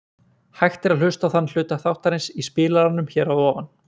Hægt er að hlusta á þann hluta þáttarins í spilaranum hér að ofan.